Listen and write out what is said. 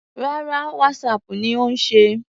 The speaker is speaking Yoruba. Rárá, Whatsapp ni ó ń ṣe.